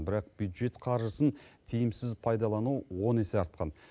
бірақ бюджет қаржысын тиімсіз пайдалану он есе артқан